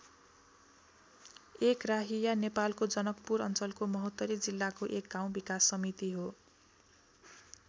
एकराहिया नेपालको जनकपुर अञ्चलको महोत्तरी जिल्लाको एक गाउँ विकास समिति हो।